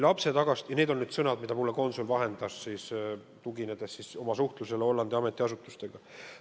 Need on need sõnad, mida konsul mulle vahendas, tuginedes Hollandi ametiasutustega toimunud suhtlusele.